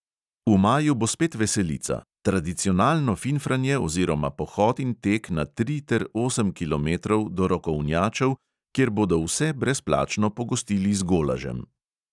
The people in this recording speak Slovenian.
V maju bo spet veselica – tradicionalno finfranje oziroma pohod in tek na tri ter osem kilometrov do rokovnjačev, kjer bodo vse brezplačno pogostili z golažem.